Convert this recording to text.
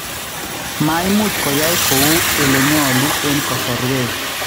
maimuch koyai kouu elenyolu en kasorwek